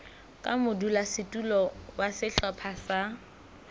ka modulasetulo wa sehlopha sa